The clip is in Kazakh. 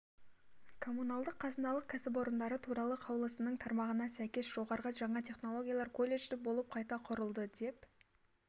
коммуналдық қазыналық кәсіпорындары туралы қаулысының тармағына сәйкес жоғарғы жаңа технологиялар колледжі болып қайта құрылды деп